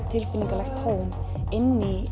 tilfinningalegt tóm inn í